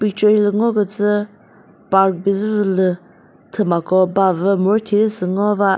picture hilü ngo kütsü park bizü vü lü thümako ba vü mürüthi zü sü ngova.